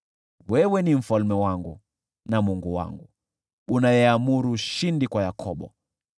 Wewe ni mfalme wangu na Mungu wangu, unayeamuru ushindi kwa Yakobo.